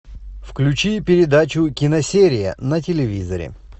включи передачу киносерия на телевизоре